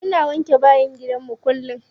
Muna wanke bayin gidanmu kullum.